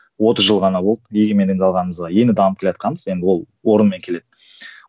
отыз жыл ғана болды егемендік алғанымызға енді дамып келатқанбыз енді ол орнымен келеді